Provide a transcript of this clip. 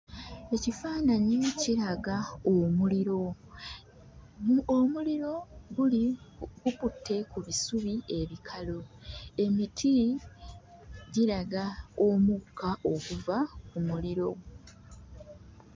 Ekifaananyi kiraga omuliro. Omuliro guli gukutte ku bisubi ebikalu. Emiti giraga omukka oguva mu muliro.